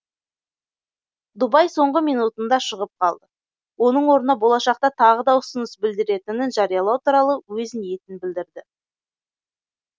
дубай соңғы минутында шығып қалды оның орнына болашақта тағы да ұсыныс білдіретінін жариялау туралы өз ниетін білдірді